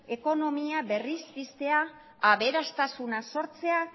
ekonomia berriz piztea aberastasuna sortzea